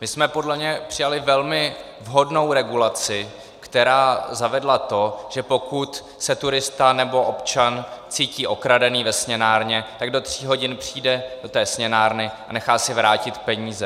My jsme podle mě přijali velmi vhodnou regulaci, která zavedla to, že pokud se turista nebo občan cítí okradený ve směnárně, tak do tří hodin přijde do té směnárny a nechá si vrátit peníze.